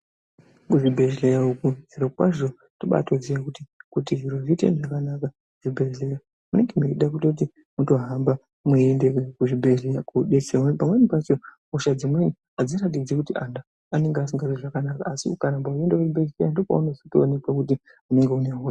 Kuzvibhledhleya uko zviro kwazvo tinobaatoziya kuti, kuti zviro zviite zvakanaka muzvibhedhleya zvinoda kuti mutohamba mweienda kuchibhedhleya koodetserwa. Ngekuti pamweni pacho hosha dzimweni adziratidzi kuti muntu aasi kuzwa zvakanaka asi ukaramba uchienda kuchibhedhlera ndokwaunotozooneka kuti une hosha.